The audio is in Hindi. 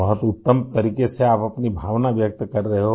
बहुत उत्तम तरीक़े से आप अपनी भावना व्यक्त कर रहे हो